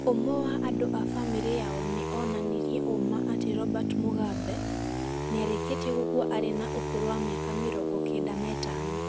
Ũmwe wa andũ a famĩlĩ yao nĩ onanirie ũũma atĩ Robert Mugabe, nĩarĩkĩtie gũkua arĩ na ũkũrũ wa mĩaka mĩrogo kenda na itano